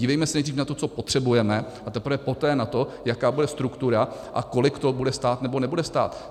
Dívejme se nejdřív na to, co potřebujeme, a teprve poté na to, jaká bude struktura a kolik to bude stát nebo nebude stát.